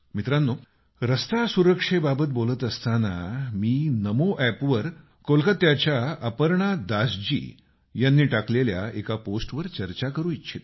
मित्रांनो रस्ते सुरक्षेबाबत बोलत असताना मी नमो एप वर कोलकात्याच्या अपर्णा दासजी यांनी टाकलेल्या एका पोस्ट वर चर्चा करू इच्छितो